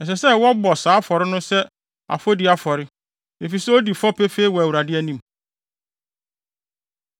Ɛsɛ sɛ wɔbɔ saa afɔre no sɛ afɔdi afɔre, efisɛ odi fɔ pefee wɔ Awurade anim.”